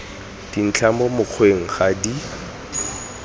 dintlha mo mokgweng ga di